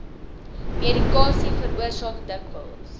medikasie veroorsaak dikwels